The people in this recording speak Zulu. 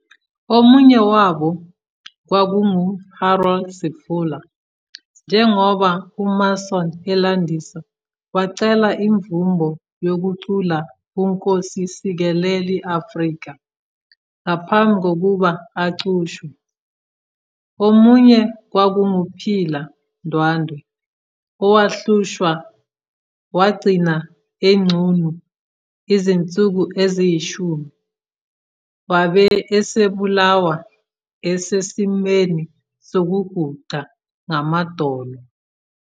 Omunye wabo kwakunguHarold Sefola, njengoba uMason elandisa, "wacela imvumo yokucula uNkosi Sikelel 'iAfrika" ngaphambi kokuba aqushwe, omunye kwakunguPhila Ndwandwe, " owahlushwa wagcina enqunu izinsuku eziyishumi" wabe esebulawa esesimweni sokuguqa ngamadolo.